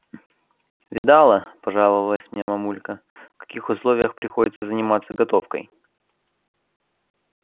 видала пожаловалась мне мамулька в каких условиях приходится заниматься готовкой